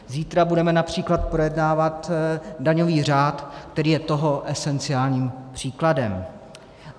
Zítra budeme například projednávat daňový řád, který je toho esenciálním příkladem.